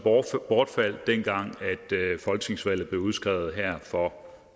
bortfaldt dengang folketingsvalget blev udskrevet her for